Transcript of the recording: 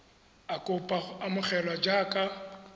a kopa go amogelwa jaaka